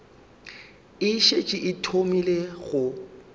e šetše e thomile go